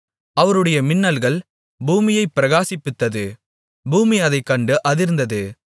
அவருடைய மின்னல்கள் பூமியைப் பிரகாசிப்பித்தது பூமி அதைக்கண்டு அதிர்ந்தது